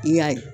I y'a ye